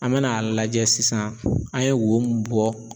An mɛ n'a lajɛ sisan an ye wo mun bɔ